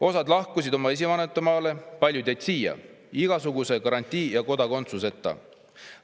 Osa lahkus oma esivanemate maale, paljud jäid siia igasuguse garantii ja kodakondsuseta.